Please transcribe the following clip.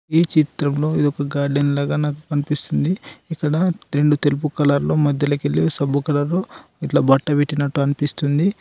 ఈ చిత్రంలో ఇదొక గార్డెన్ లాగా నాకు కన్పిస్తుంది ఇక్కడ రెండు తెలుపు కలర్లో మధ్యలో కెళ్లి సబ్బు కలర్లో ఇట్ల బట్ట పెట్టినట్టు అన్పిస్తుంది.